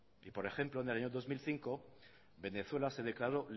y por ejemplo en el año dos mil cinco venezuela se declaró